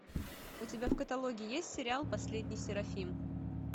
у тебя в каталоге есть сериал последний серафим